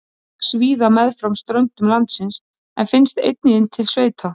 Það vex víða meðfram ströndum landsins en finnst einnig inn til sveita.